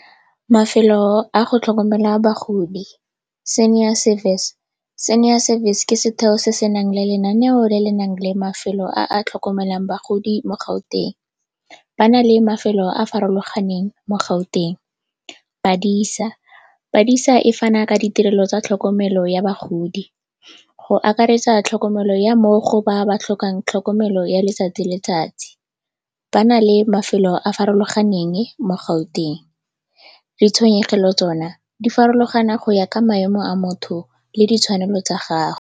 Mafelo a go tlhokomela bagodi, senior service. Senior service ke setheo se nang le lenaneo le le nang le mafelo a a tlhokomelang bagodi mo Gauteng. Ba na le mafelo a farologaneng mo Gauteng, badisa. Badisa e fana ka ditirelo tsa tlhokomelo ya bagodi go akaretsa tlhokomelo ya mo go ba ba tlhokang tlhokomelo ya letsatsi le 'tsatsi. Ba na le mafelo a farologaneng mo Gauteng, ditshwenyegelo tsona di farologana go ya ka maemo a motho le ditshwanelo tsa gago.